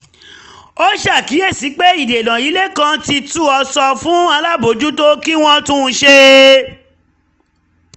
ó ṣàkíyèsí pé ìdènà ilé kan ti tu ó sọ fún alábòójútó um kí wọ́n tún un ṣe